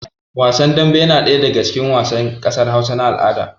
Wasan dambe yana ɗaya daga cikin wasan ƙasar Hausa na al'ada